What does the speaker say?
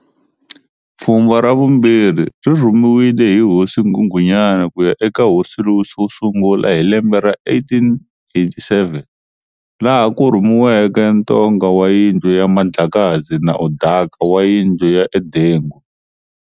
Pfhumba ra vumbirhi ri rhumiwile hi hosi nghunghunyani kuya e ka hosi Louis wo sungula hi lembe ra 1887, laha ku rhumiweke N'Tonga wa yindlu ya Mandlakazi na Udaka wa yindlu ya Udengo.